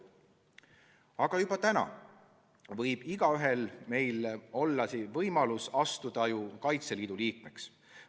Aga juba täna on meist igaühel võimalus astuda Kaitseliidu liikmeks.